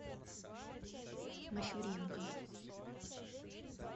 мащуренко